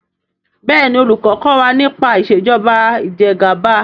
béèni olùkó kò wá nípa Ìṣèjọba Ìjẹgàba.